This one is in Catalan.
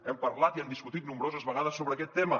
hem parlat i hem discutit nombroses vegades sobre aquest tema